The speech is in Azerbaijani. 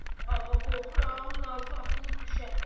Amma qorxuram Nazlı atılıb düşə.